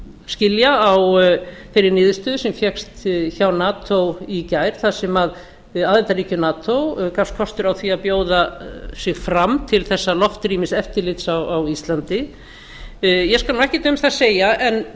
skilja á þeirri niðurstöðu sem fékkst hjá nato í gær þar sem aðildarríki nato gafst kostur á því að bjóða sig fram til þessa loftrýmiseftirlits á íslandi ég skal ekkert um það segja en